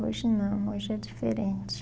Hoje não, hoje é diferente.